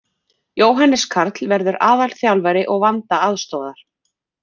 Jóhannes Karl verður aðalþjálfari og Vanda aðstoðar.